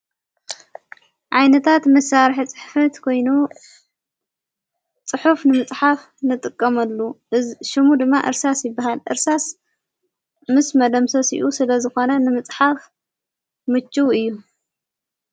ዓይነታት መሳርሕ ጽሕፍት ኮይኑ ጽሑፍ ንምጽሓፍ ንጥቀመሉ። ሹሙ ድማ እርሳስ ይበሃል እርሳስ ምስ መደምሰሲኡ ስለ ዝኾነ ንምጽሓፍ ምችው እዩ።